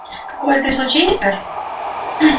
какое-то излучение сэр